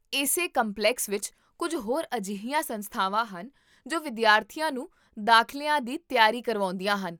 ਇਸੇ ਕੰਪਲੈਕਸ ਵਿੱਚ ਕੁੱਝ ਹੋਰ ਅਜਿਹੀਆਂ ਸੰਸਥਾਵਾਂ ਹਨ ਜੋ ਵਿਦਿਆਰਥੀਆਂ ਨੂੰ ਦਾਖ਼ਲਿਆਂ ਦੀ ਤਿਆਰੀ ਕਰਵਾਉਂਦੀਆਂ ਹਨ